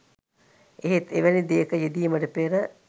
එහෙත් එවැනි දෙයක යෙදීමට පෙර